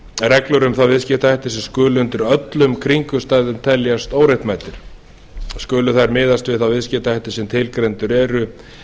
reglur um þá viðskiptahætti sem skulu undir öllum kringumstæðum teljast óréttmætir skulu þær miðast við þá viðskiptahætti sem tilgreindir eru